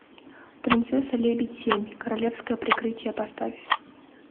принцесса лебедь семь королевское прикрытие поставь